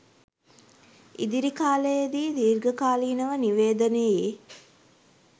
ඉදිරි කාලයේදී දීර්ඝකාලීනව නිවේදනයෙ